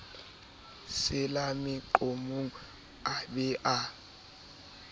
sela meqomong a be a